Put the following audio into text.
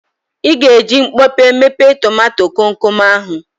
Ị ga-eji mkpọpe mepe tomato komkom ahụ.